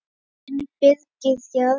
Þinn Birgir Jarl.